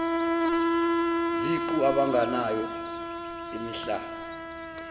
ziqu abanganayo imihlaba